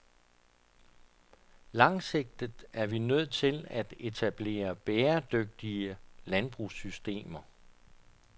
Langsigtet er vi nødt til at etablere bæredygtige landbrugssystemer.